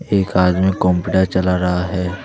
एक आदमी कॉमपीटर चला रहा है।